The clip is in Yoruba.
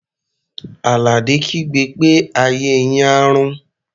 Àlàdé kígbe pé "ayé yín á rún!"